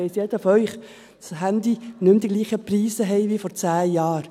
Das weiss jeder von Ihnen, dass Handys nicht mehr dieselben Preise haben wie vor 10 Jahren.